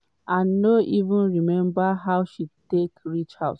and no even remember how she take reach house.